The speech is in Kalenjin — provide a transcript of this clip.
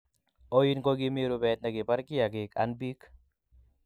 Oin ko kimi rubet nekibar kiyakik an bik